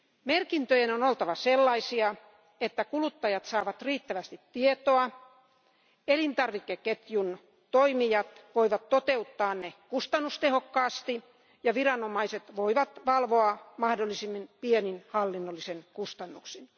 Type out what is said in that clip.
Merkintöjen on oltava sellaisia, että kuluttajat saavat riittävästi tietoa, elintarvikeketjun toimijat voivat toteuttaa ne kustannustehokkaasti ja viranomaiset voivat valvoa niitä mahdollisimmin pienin hallinnollisin kustannuksin.